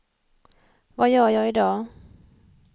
vad gör jag idag